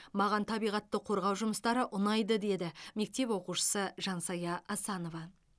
маған табиғатты қорғау жұмыстары ұнайды деді мектеп оқушысы жансая асанова